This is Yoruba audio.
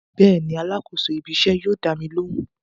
Bẹ́ẹ̀ni alákòóso ibí iṣẹ́ yóò dámi lóhùn